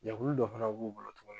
Jɛkulu dɔ fana b'u bolo tuguni.